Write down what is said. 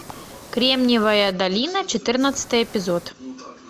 кремниевая долина четырнадцатый эпизод